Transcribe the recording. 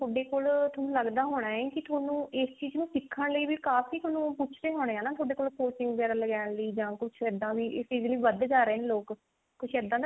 ਥੋਡੇ ਕੋਲ ਥੋਨੂੰ ਲੱਗਦਾ ਹੋਣਾ ਹੈ ਕੀ ਥੋਨੂੰ ਇਸ ਚੀਜ਼ ਨੂੰ ਸਿੱਖਣ ਲਈ ਵੀ ਕਾਫੀ ਥੋਨੂੰ ਪੁੱਛਦੇ ਹੋਣੇ ਆ ਨਾ ਥੋਡੇ ਕੋਲ coaching ਵਗੇਰਾ ਲੈਣ ਲਈ ਜਾਂ ਕੁਛ ਇੱਦਾਂ ਵੀ ਇਸ ਚੀਜ਼ ਲਈ ਵਧਦੇ ਜਾ ਰਹੇ ਨੇ ਲੋਕ ਕੁਛ ਇੱਦਾਂ